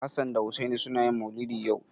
Hassan da Hussaini suna yin maulidi yau.